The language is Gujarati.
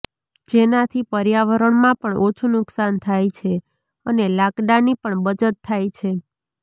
જેનાથી પર્યાવરણમાં પણ ઓછુ નુકશાન થાય છે અને લાકડાની પણ બચત થાય છે